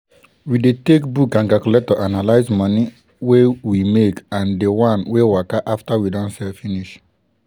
we dey take book and calculator analyze moni wey we make and di wan wey waka after we don sell finish.